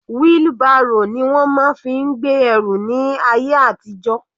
Wheelbarrow ni wọ́n fi máa ń gbé ẹrù ní ayé àtijó.